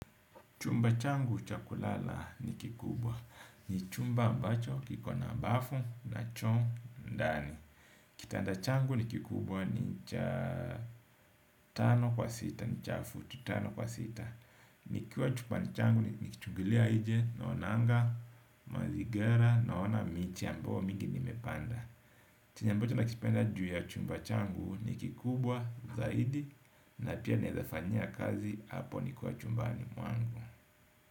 Chumba changu cha kulala ni kikubwa, ni chumba ambacho kiko na bafu na choo ndani. Kitanda changu ni kikubwa ni cha tano kwa sita, ni cha futi, tano kwa sita. Nikiwa chumbani changu nikichungilia nje, naonanga, mazingira, naona miti ambayo mingi nimepanda chenye ambacho nakipenda ju ya chumba changu ni kikubwa, zaidi, na pia naezafanyia kazi, hapo nikiwa chumbani mwangu.